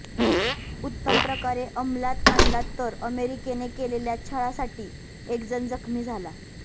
उत्तमप्रकारे अंमलात आणला तर अमेरिकेने केलेल्या छळासाठी एकजण जखमी झाला